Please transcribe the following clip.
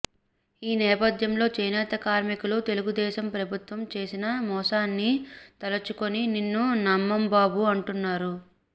ఈ నేపథ్యంలో చేనేత కార్మికులు తెలుగుదేశం ప్రభుత్వం చేసిన మోసాన్ని తలుచుకుని నిన్ను నమ్మం బాబూ అంటున్నారు